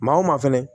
Maa o maa fɛnɛ